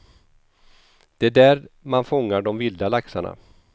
Det är där man fångar de vilda laxarna.